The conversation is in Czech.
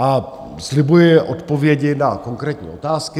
A slibuji odpovědi na konkrétní otázky.